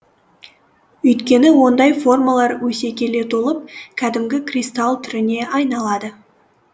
өйткені ондай формалар өсе келе толып кәдімгі кристалл түріне айналады